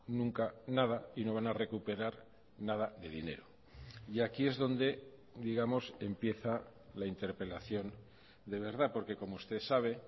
nunca nada y no van a recuperar nada de dinero y aquí es donde digamos empieza la interpelación de verdad porque como usted sabe